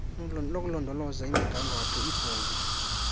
nokulondoloza imigangatho ibhunga